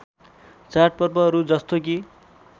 चाडपर्वहरू जस्तो कि